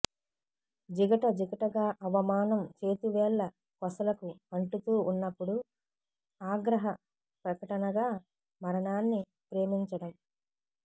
జిగట జిగటగా అవమానం చేతివేళ్ల కొసలకు అంటుతూ వున్నపుడు ఆగ్రహ ప్రకటనగా మరణాన్ని ప్రేమించడం